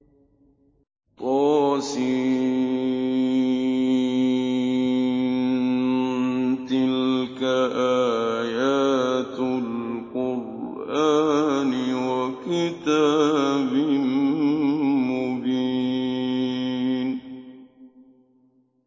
طس ۚ تِلْكَ آيَاتُ الْقُرْآنِ وَكِتَابٍ مُّبِينٍ